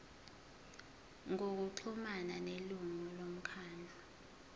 ngokuxhumana nelungu lomkhandlu